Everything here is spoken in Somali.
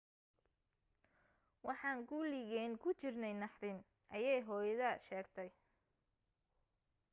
waxaan kuligeen ku jirnay naxdin ayee hooyada sheegtay